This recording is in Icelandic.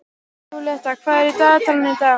Júlíetta, hvað er í dagatalinu í dag?